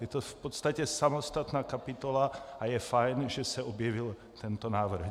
Je to v podstatě samostatná kapitola a je fajn, že se objevil tento návrh.